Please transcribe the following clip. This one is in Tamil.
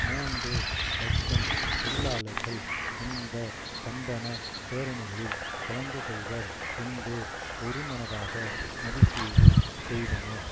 மூன்று இலட்சம் தொழிலாளர்கள் இந்த கண்டன பேரணிகளில் கலந்துகொள்வர் என்று ஒருமனதாக மதிப்பீடு செய்தனர்